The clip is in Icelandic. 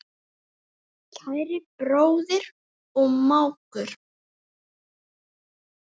Kæri bróðir og mágur.